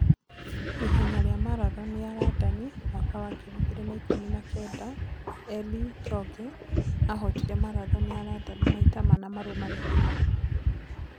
Ihenya rĩa Marathoni ya Randani mwaka wa ngiri igĩrĩ na-ikũmi na-kenda: Eli Choge ahootire marathoni ya Randani maita mana marũmanĩrĩire